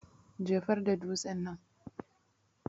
jefarda dutsen nan.